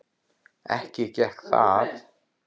Ekki gekk það.